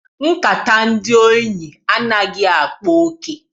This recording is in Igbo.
Nkata ndị enyi anaghị akpa oke.